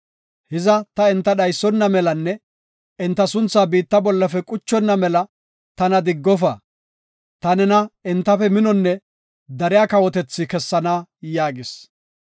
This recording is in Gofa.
Hiza ta enta dhaysona melanne enta sunthaa biitta bollafe quchonna mela tana diggofa. Ta nena entafe minonne dariya kawotethi kessana” yaagis.